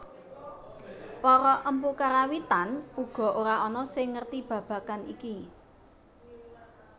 Para empu Karawitan uga ora ana sing ngerti babagan iki